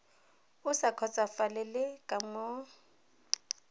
o sa kgotsofalele ka moo